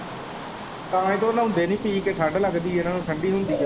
ਤਾਂ ਹੀ ਤੇ ਉਹ ਨਹਾਉਂਦੇ ਨਹੀਂ ਪੀ ਕੇ ਠੰਡ ਲੱਗਦੀ ਹੈ ਠੰਡੀ ਹੁੰਦੀ ਹੈ।